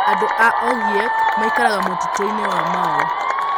Andũ a Ogiek maikaraga mũtitũ-inĩ wa Mau.